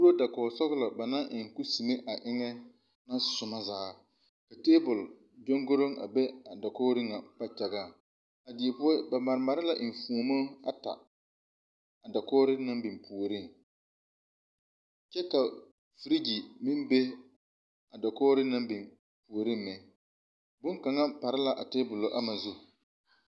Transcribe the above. Kue dakogi sɔgelɔ ba naŋ eŋ kuseme a eŋ a soma zaa ka taabol kyongoro a be a dakogiro ŋa kpagyaŋaŋ a due poɔ ba mare mare la enfuomo ata a dakogiro naŋ be puoriŋ kyɛ ka ferigi meŋ be a dakogiro naŋ be puoriŋ boŋkaŋa pare la a taabol gama zu